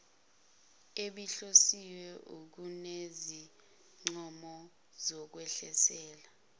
ebihlosiwe kunezincomo zokwengezela